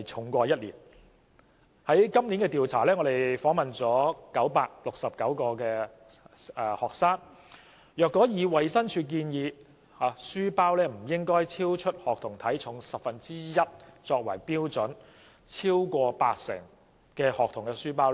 民建聯在今年的調查中訪問了969名學生，若以衞生署建議書包不應超出學童體重十分之一為標準，超過八成學童的書包